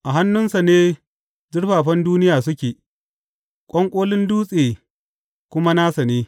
A hannunsa ne zurfafan duniya suke, ƙwanƙolin dutse kuma nasa ne.